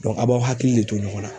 a b'aw hakili le to ɲɔgɔn na.